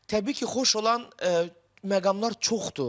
Təbii ki, xoş olan məqamlar çoxdur.